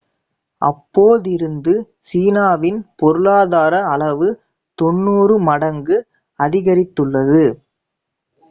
அப்போதிருந்து சீனாவின் பொருளாதார அளவு 90 மடங்கு அதிகரித்துள்ளது